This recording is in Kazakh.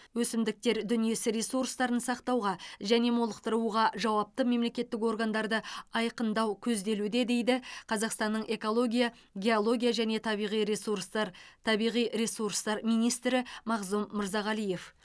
өсімдіктер дүниесі ресурстарын сақтауға және молықтыруға жауапты мемлекеттік органдарды айқындау көзделуде дейді қазақстанның экология геология және табиғи ресурстар табиғи ресурстар министрі мағзұм мырзағалиев